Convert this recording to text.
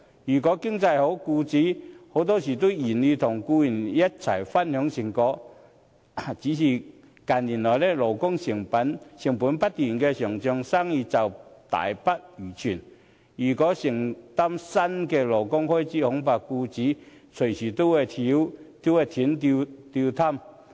如果經濟好，僱主很多時都願意與僱員一同分享成果，只是近年來，勞工成本不斷上漲，生意大不如前，如要承擔新的勞工開支，恐怕僱主隨時都會"斷擔挑"。